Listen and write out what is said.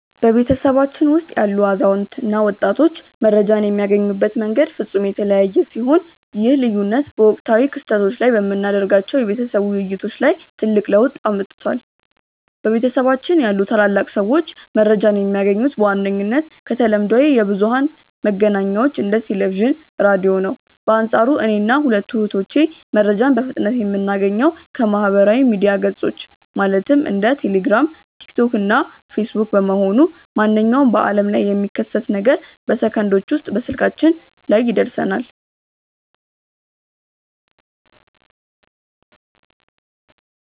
በቤተሰባችን ውስጥ ያሉ አዛውንት እና ወጣቶች መረጃን የሚያገኙበት መንገድ ፍጹም የተለያየ ሲሆን፣ ይህ ልዩነት በወቅታዊ ክስተቶች ላይ በምናደርጋቸው የቤተሰብ ውይይቶች ላይ ትልቅ ለውጥ አምጥቷል። በቤታችን ያሉ ታላላቅ ሰዎች መረጃን የሚያገኙት በዋነኝነት ከተለምዷዊ የብዙኃን መገናኛዎች እንደ ቴሌቪዥን፣ ራዲዮ ነው። በአንፃሩ እኔና ሁለቱ እህቶቼ መረጃን በፍጥነት የምናገኘው ከማኅበራዊ ሚዲያ ገጾች (እንደ ቴሌግራም፣ ቲክቶክ እና ፌስቡክ) በመሆኑ፣ ማንኛውም በዓለም ላይ የሚከሰት ነገር በሰከንዶች ውስጥ ስልካችን ላይ ይደርሰናል።